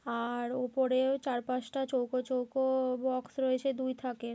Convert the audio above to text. আ-আ-আর উপরেও চার পাঁচটা চৌকো চৌকো-ও বক্স রয়েছে দুই থাকে ।